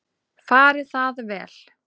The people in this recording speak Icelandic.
Fari það vel.